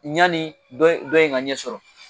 yani dɔ in ka ɲɛ sɔrɔ